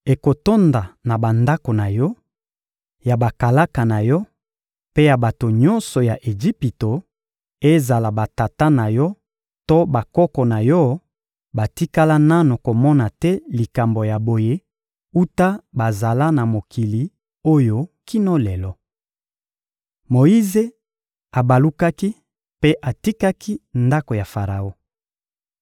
Ekotonda na bandako na yo, ya bakalaka na yo mpe ya bato nyonso ya Ejipito; ezala batata na yo to bakoko na yo batikala nanu komona te likambo ya boye wuta bazala na mokili oyo kino lelo.›» Moyize abalukaki mpe atikaki ndako ya Faraon.